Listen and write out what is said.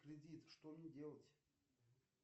кредит что мне делать